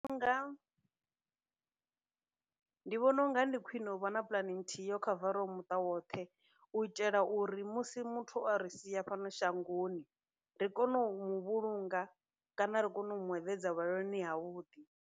Ndi vhona unga ndi khwine u vha na puḽane nthihi yo khavaraho muṱa woṱhe u itela uri musi muthu a ri sia fhano shangoni ri kone u muvhulunga kana ri kone u mueḓedza vhulaloni ha vhuḓi.